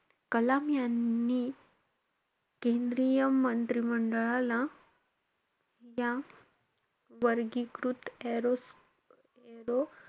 कलाम यांनी केंद्रीय मंत्री मंडळाला या वर्गीकृत aero aero,